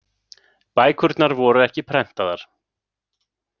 Bækurnar voru ekki prentaðar.